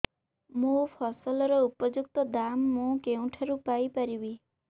ମୋ ଫସଲର ଉପଯୁକ୍ତ ଦାମ୍ ମୁଁ କେଉଁଠାରୁ ପାଇ ପାରିବି